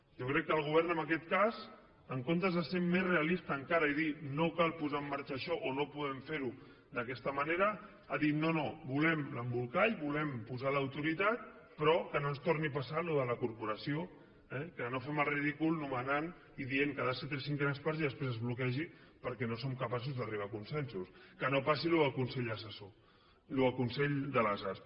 jo crec que el govern en aquest cas en comptes de ser més realista encara i dir no cal posar en marxa això o no podem fer ho d’aquesta manera ha dit no no volem l’embolcall volem posar l’autoritat però que no ens torni a passar allò de la corporació que no fem el ridícul nomenant i dient que ha de ser tres cinquenes parts i després es bloquegi perquè no som capaços d’arribar a consensos que no passi allò del consell assessor allò del consell de les arts